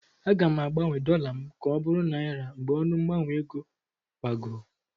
Aga m agbanwe dọla m ka ọ bụrụ naịra mgbe ọnụ mgbanwe ego gbagoo.